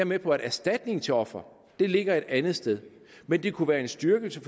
med på at erstatning til ofre ligger et andet sted men det kunne være en styrkelse